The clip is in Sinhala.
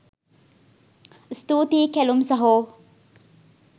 ස්තූතියි කැලුම් සහෝ